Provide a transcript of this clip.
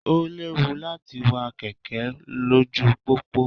Ó léwu láti wa kẹ̀kẹ́ lójú pópó.